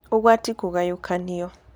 Ũgwati kũgayũkanio: